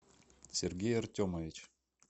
сергей артемович